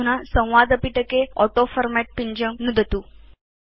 अधुना संवादपिटके ऑटोफॉर्मेट् पिञ्जं नुदतु